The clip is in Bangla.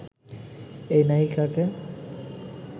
এই নায়িকাকে